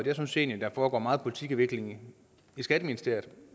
jeg synes egentlig der foregår meget politikudvikling i skatteministeriet